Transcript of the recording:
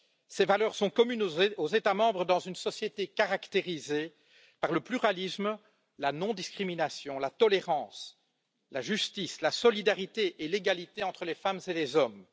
Ces valeurs sont communes aux États membres dans une société caractérisée par le pluralisme, la non discrimination, la tolérance, la justice, la solidarité et l'égalité entre les femmes et les hommes.